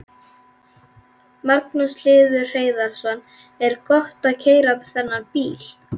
Magnús Hlynur Hreiðarsson: Er gott að keyra þennan bíl?